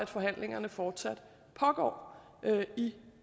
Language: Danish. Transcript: forhandlingerne fortsat pågår i